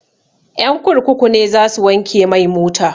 Ƴan kurkuku ne za su wanke mai mota